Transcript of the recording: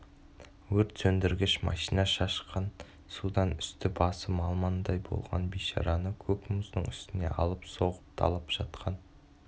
өрт сөндіргіш машина шашқан судан үсті-басы малмандай болған бейшараны көк мұздың үстіне алып-соғып талап жатқан